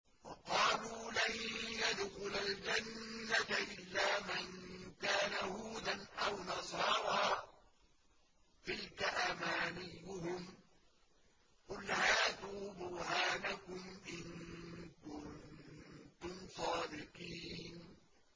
وَقَالُوا لَن يَدْخُلَ الْجَنَّةَ إِلَّا مَن كَانَ هُودًا أَوْ نَصَارَىٰ ۗ تِلْكَ أَمَانِيُّهُمْ ۗ قُلْ هَاتُوا بُرْهَانَكُمْ إِن كُنتُمْ صَادِقِينَ